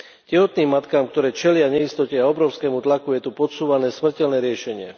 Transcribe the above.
Tehotným matkám, ktoré čelia neistote a obrovskému tlaku, je tu podsúvané smrteľné riešenie.